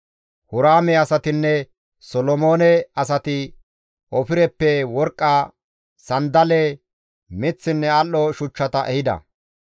Huraame asatinne Solomoone asati Ofireppe worqqa, sanddale miththinne al7o shuchchata ehida.